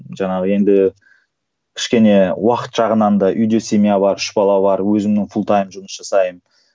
жаңағы енді кішкене уақыт жағынан да үйде семья бар үш бала бар өзімнің жұмыс жасаймын